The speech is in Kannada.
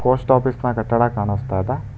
ಪೋಸ್ಟ್ ಆಫೀಸ್ ನ ಕಟ್ಟಡ ಕಾಣಸ್ತಾ ಇದೆ.